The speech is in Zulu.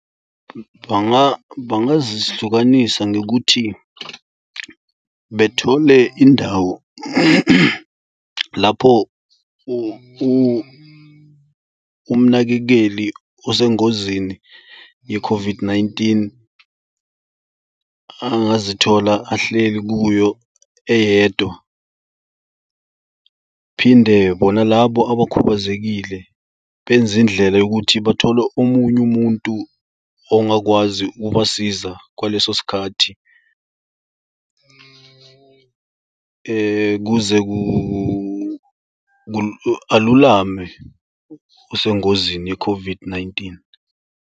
Bangazihlukanisa ngokuthi bethole indawo lapho umnakekeli osengozini ye-COVID-19, angazithola ahleli kuyo eyedwa. Phinde bona labo abakhubazekile benze indlela yokuthi bathole omunye umuntu ongakwazi ukubasiza kwaleso sikhathi kuze alulame osengozini ye-COVID-19.